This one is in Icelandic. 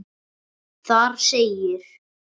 Þar segir: